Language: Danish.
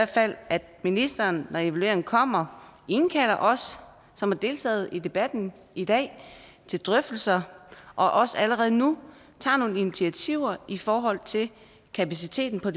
fald at ministeren når resultatet af evalueringen kommer indkalder os som har deltaget i debatten i dag til drøftelser og også allerede nu tager nogle initiativer i forhold til kapaciteten på